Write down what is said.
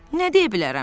Nə deyə bilərəm?